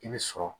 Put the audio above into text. I bɛ sɔrɔ